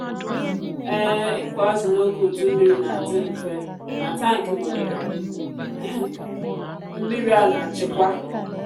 um ịkụ azụ n’oge udu mmiri na-adị mfe n’atankị nwere mmiri a na-achịkwa.